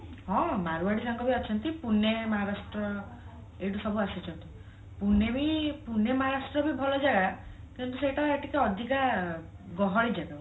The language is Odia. ହଁ ମାରୁଆଡି ସାଙ୍ଗ ବି ଅଛନ୍ତି ପୁନେ ମହାରାଷ୍ଟ୍ର ଏଇଠୁ ସବୁ ଆସୁଛନ୍ତି ପୁନେ ବି ପୁନେ ମହାରାଷ୍ଟ୍ର ବି ଭଲ ଜାଗା କିନ୍ତୁ ସେଇଟା ଟିକେ ଅଧିକା ଗହଳି ଜାଗା